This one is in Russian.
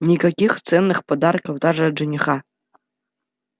никаких ценных подарков даже от жениха